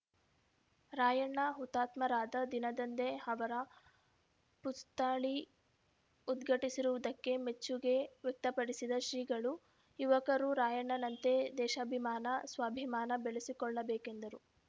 ರಾಯಣ್ಣ ಹುತಾತ್ಮರಾದ ದಿನದಂದೇ ಅವರ ಪುಸ್ತಳಿ ಉದ್ಘಾಟಿಸಿರುವುದಕ್ಕೆ ಮೆಚ್ಚುಗೆ ವ್ಯಕ್ತಪಡಿಸಿದ ಶ್ರೀಗಳು ಯುವಕರು ರಾಯಣ್ಣನಂತೆ ದೇಶಾಭಿಮಾನ ಸ್ವಾಭಿಮಾನ ಬೆಳೆಸಿಕೊಳ್ಳಬೇಕೆಂದರು